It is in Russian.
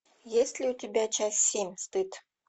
есть ли у тебя часть семь стыд